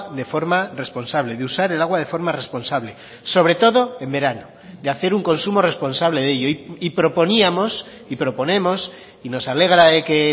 de forma responsable de usar el agua de forma responsable sobre todo en verano de hacer un consumo responsable de ello y proponíamos y proponemos y nos alegra de que